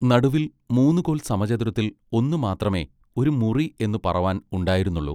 നടുവിൽ മൂന്നുകോൽ സമചതുരത്തിൽ ഒന്നു മാത്രമെ ഒരു മുറി എന്നു പറവാൻ ഉണ്ടായിരുന്നുള്ളു.